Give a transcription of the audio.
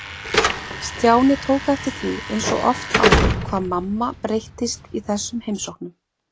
Stjáni tók eftir því eins og oft áður hvað mamma breyttist í þessum heimsóknum.